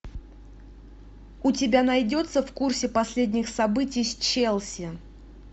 у тебя найдется в курсе последних событий с челси